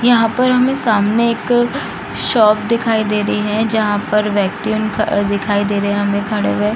यहाँ पर हमें सामने एक शॉप दिखाई दे रही है जहाँ पर व्यक्ति उनका दिखाई दे रहे हमें खड़े हुए।